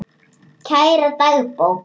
Kæra dagbók!